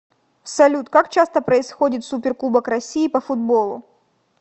салют как часто происходит суперкубок россии по футболу